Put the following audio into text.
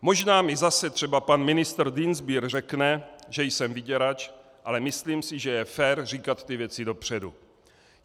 Možná mi zase třeba pan ministr Dienstbier řekne, že jsem vyděrač, ale myslím si, že je fér říkat ty věci dopředu.